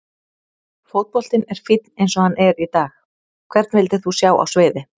Fótboltinn er fínn eins og hann er í dag Hvern vildir þú sjá á sviði?